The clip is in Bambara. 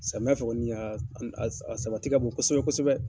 Samiya fɛ kɔni a sabati ka bon kosɛbɛ kosɛbɛ.